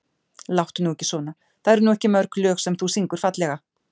Láttu nú ekki svona það eru nú ekki mörg lög sem þú syngur fallega.